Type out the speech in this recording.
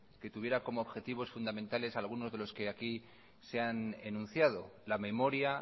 que tuviera como objetivos fundamentales algunos de los que aquí se han enunciado la memoria